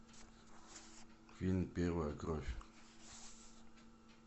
фильм первая кровь